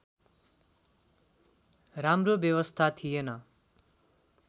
राम्रो व्यवस्था थिएन